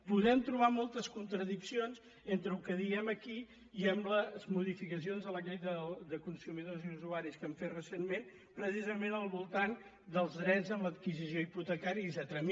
podem trobar moltes contradiccions entre el que diem aquí i amb les modificacions de la llei de consumidors i usuaris que hem fet recentment precisament al voltant dels drets en l’adquisició hipotecària etcètera